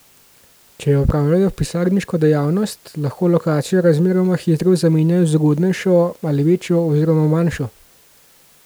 Če opravljajo pisarniško dejavnost, lahko lokacijo razmeroma hitro zamenjajo z ugodnejšo ali večjo oziroma manjšo.